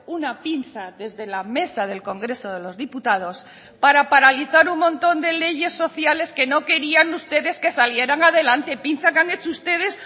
una pinza desde la mesa del congreso de los diputados para paralizar un montón de leyes sociales que no querían ustedes que salieran adelante pinza que han hecho ustedes